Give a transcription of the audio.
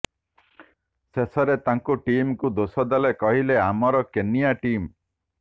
ଶେଷରେ ତାଙ୍କ ଟିମକୁ ଦୋଷ ଦେଲେ କହିଲେ ଆମର କେନିୟା ଟିମ